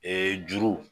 juru